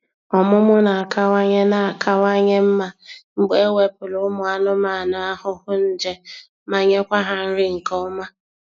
Ọmụmụ na-akawanye na-akawanye mma mgbe ewepụlụ ụmụ anụmanụ ahụhụ nje ma nyekwa ha nri nke ọma.